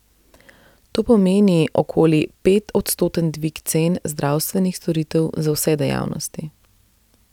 To pomeni okoli petodstoten dvig cen zdravstvenih storitev za vse dejavnosti.